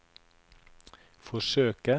forsøke